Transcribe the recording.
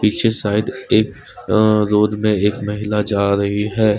पीछे शायद एक रोड में एक महिला जा रही है।